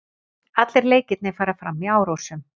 Allir leikirnir fara fram í Árósum